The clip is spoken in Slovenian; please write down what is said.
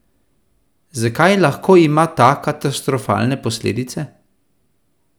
Zakaj lahko ima ta katastrofalne posledice?